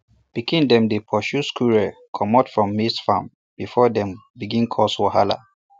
pikin dem dey pursue squirrels comot from maize farm before dem begin cause wahala